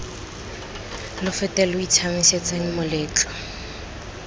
lo fete lo itshiamisetseng moletlo